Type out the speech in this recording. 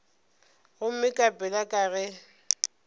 gomme ka pela ke ge